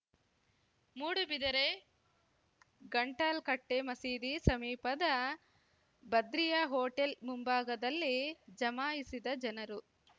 ಮೂಡುಬಿದಿರೆ ಗಂಟಾಲ್‌ಕಟ್ಟೆಮಸೀದಿ ಸಮೀಪದ ಬದ್ರಿಯಾ ಹೋಟೆಲ್‌ ಮುಂಭಾಗದಲ್ಲಿ ಜಮಾಯಿಸಿದ ಜನರು